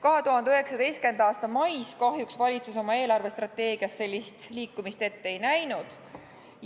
2019. aasta mais kahjuks valitsus oma eelarvestrateegias sellist liikumist ette ei näinud.